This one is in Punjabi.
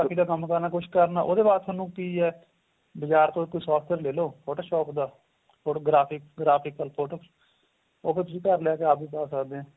ਕੰਮ ਕਰਨਾ ਏ ਕੁੱਛ ਕਰਨਾ ਏ ਉਹਦੇ ਵਾਸਤੇ ਤੁਹਾਨੂੰ ਕੀ ਏਹ ਬਾਜ਼ਾਰ ਤੋ ਇੱਕ software ਲੈਲੋ shop ਦਾ graphic graphical photo ਉਹ ਤੇ ਤੁਸੀਂ ਘਰ ਲੈਕੇ ਤੁਸੀਂ ਆਪ ਏ ਪਾਂ ਸਕਦੇ ਹੋ